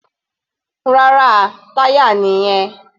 Rárá, táyà nìyẹn.